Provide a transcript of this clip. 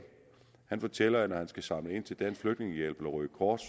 fortæller at når han skal samle ind til dansk flygtningehjælp eller røde kors